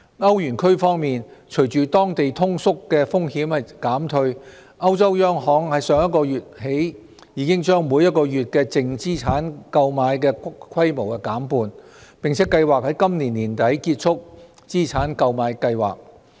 歐羅區方面，隨着當地通縮風險減退，歐洲央行自上月起已把每月淨資產購買規模減半，並計劃於今年年底結束資產購買計劃。